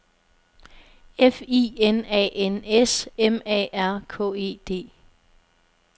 F I N A N S M A R K E D